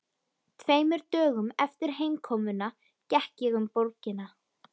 Tveimur dögum eftir heimkomuna gekk ég um borgina.